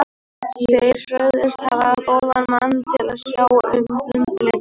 Þeir sögðust hafa góðan mann til að sjá um undirleikinn fyrir mig.